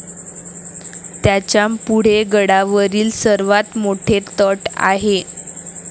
त्याच्यापुढे गडावरील सर्वात मोठे तट आहे